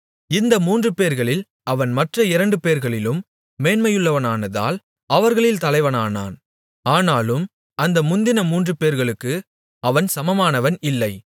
இந்த மூன்றுபேர்களில் அவன் மற்ற இரண்டுபேர்களிலும் மேன்மையுள்ளவனானதால் அவர்களில் தலைவனானான் ஆனாலும் அந்த முந்தின மூன்றுபேர்களுக்கு அவன் சமமானவன் இல்லை